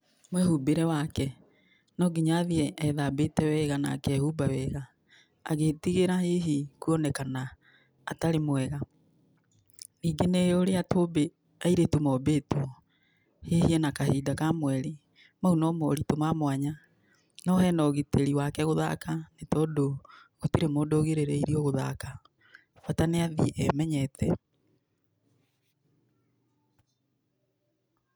Mwĩhumbĩre wake, no nginya athiĩ ethambĩte wega, na akehumba wega agĩtigĩra hihi kũonekana atarĩ mwega. Ningĩ nĩ ũrĩa tũmbĩ airĩtu mombĩtwo. Hihi ena kahinda ka mweri, mau no morito ma mwanya. No hena ũgitĩri wake gũthaka nĩ tondũ gũtirĩ mũndũ ũgirĩrĩirio gũthaka, bata niathiĩ emenyete.